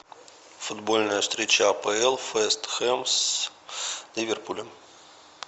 футбольная встреча апл вест хэм с ливерпулем